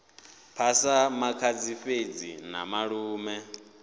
phasa makhadzi fhedzi na malume